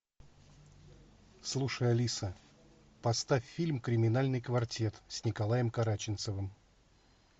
слушай алиса поставь фильм криминальный квартет с николаем караченцовым